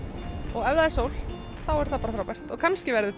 og ef það er sól þá er það bara frábært en kannski verður